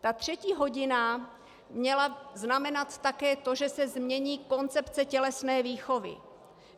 Ta třetí hodina měla znamenat také to, že se změní koncepce tělesné výchovy.